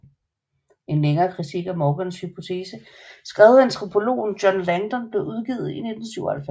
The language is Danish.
En længere kritik af Morgans hypotese skrevet af antropologen John Langdon blev udgivet i 1997